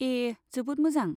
ए, जोबोद मोजां।